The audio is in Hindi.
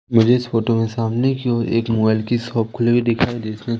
मुझे इस फोटो में सामने की ओर एक मोबाइल की शॉप खुली हुई दिखाई दे रही--